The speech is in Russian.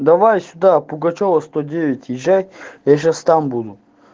давай сюда пугачёва сто девять езжай я сейчас там буду